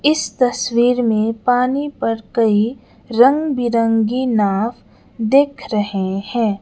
इस तस्वीर में पानी पर कई रंग बिरंगी नाव दिख रहे हैं।